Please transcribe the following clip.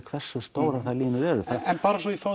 hversu stórar þær línur eru en bara svo ég fái